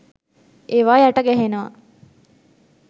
ඒවා යට ගැහෙනවා